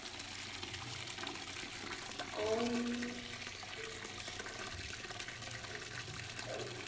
Tengd svör